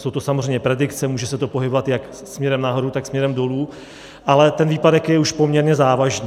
Jsou to samozřejmě predikce, může se to pohybovat jak směrem nahoru, tak směrem dolů, ale ten výpadek je už poměrně závažný.